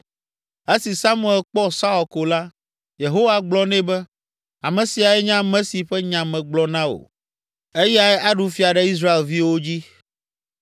Esi Samuel kpɔ Saul ko la, Yehowa gblɔ nɛ be, “Ame siae nye ame si ƒe nya megblɔ na wò, eyae aɖu fia ɖe Israelviwo dzi.”